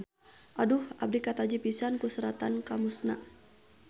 Aduh abdi kataji pisan ku seratan Kamus-na.